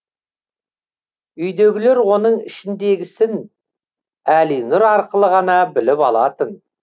үйдегілер оның ішіндегісін әлинұр арқылы ғана біліп алатын